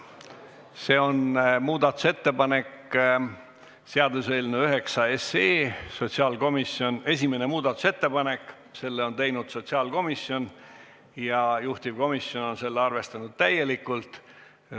See on seaduseelnõu nr 9 esimene muudatusettepanek, mille on teinud sotsiaalkomisjon ja mida juhtivkomisjon on arvestanud täielikult.